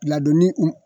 Ladonni u